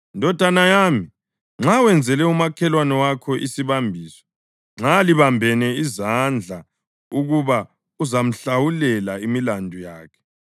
Ndodana yami, nxa wenzele umakhelwane wakho isibambiso, nxa libambene izandla ukuba uzamhlawulela imilandu yakhe,